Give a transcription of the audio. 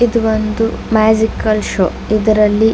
ಇದು ಒಂದು magical show ಇದರಲ್ಲಿ--